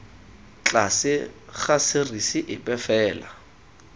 tlase ga serisi epe fela